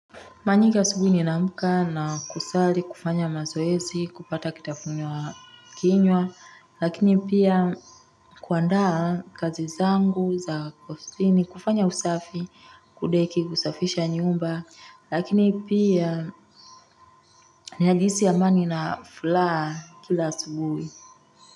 Manyika subuhi ninaamka na kusali, kufanya mazoezi, kupata kitafunwa kinywa, lakini pia kuandaa kazi zangu za kosini, kufanya usafi, kudeki kusafisha nyumba, lakini pia ninajihisi amani na fulaa kila asubuhi.